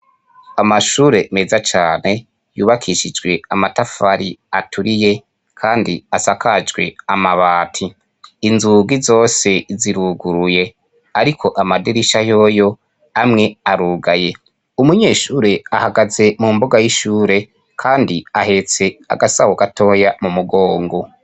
amashure meza cane yubakishijwe amatafari aturiye kandi asakajwe amabati inzugi zose ziruguruye ariko amadirisha yoyo amwe arugaye umunyeshure ahagaze mu mboga y'ishure kandi ahetse agasaho gatoya mu mugongo